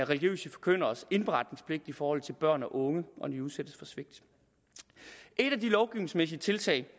religiøse forkynderes indberetningspligt i forhold til børn og unge når de udsættes for svigt et af de lovgivningsmæssige tiltag